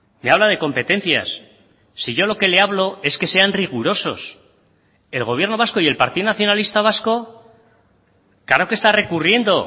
me habla de competencias si yo lo que le hablo es que sean rigurosos el gobierno vasco y el partido nacionalista vasco claro que está recurriendo